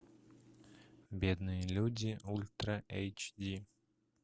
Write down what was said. бедные люди ультра эйч ди